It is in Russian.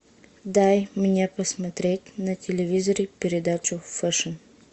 дай мне посмотреть на телевизоре передачу фэшн